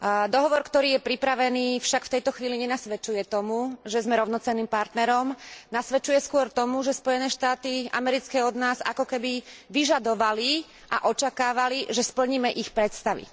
Dohovor, ktorý je pripravený však v tejto chvíli nenasvedčuje tomu, že sme rovnocenným partnerom, nasvedčuje skôr tomu, že Spojené štáty americké od nás ako keby vyžadovali a očakávali, že splníme ich predstavy.